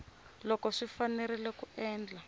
loko swi fanerile ku endla